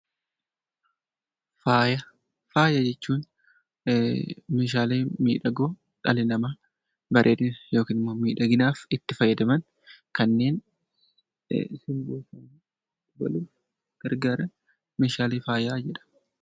Faaya jechuun meeshaalee miidhagoo dhalli namaa bareedinaaf yookiin immoo miidhaginaaf itti fayyadaman kanneen simboo isaanii dabaluuf gargaaran meeshaalee faayaa jedhamu.